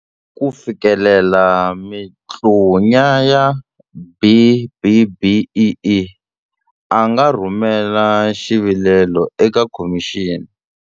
ku fikelela mikutlunya ya B-BBEE, a nga rhumela xi vilelo eka khomixini.